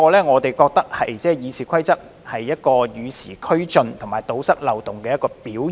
我們認為修訂《議事規則》是與時俱進及堵塞漏洞的表現。